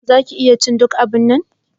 Za ki iya cin duk abunnan.